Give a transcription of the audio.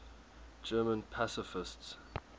german pacifists